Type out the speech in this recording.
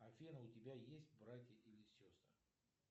афина у тебя есть братья или сестры